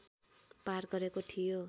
पार गरेको थियो